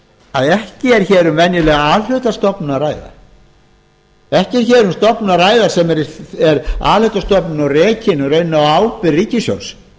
að ekki er um venjulega a hluta stofnun að ræða ekki er um stofnun að ræða sem er a hluta stofnun og rekin raunar á ábyrgð ríkissjóðs